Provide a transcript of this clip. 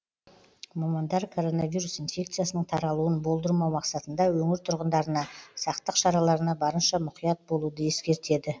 мамандар коронавирус инфекциясының таралуын болдырмау мақсатында өңір тұрғындарына сақтық шараларына барынша мұқият болуды ескертеді